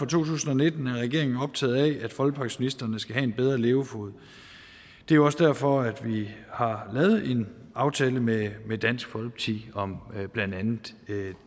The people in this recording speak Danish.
tusind og nitten er regeringen optaget af at folkepensionisterne skal have en bedre levefod det er også derfor vi har lavet en aftale med med dansk folkeparti om blandt andet